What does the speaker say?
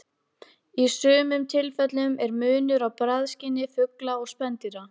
Í sumum tilfellum er munur á bragðskyni fugla og spendýra.